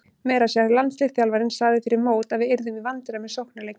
Meira að segja landsliðsþjálfarinn sagði fyrir mót að við yrðum í vandræðum með sóknarleikinn.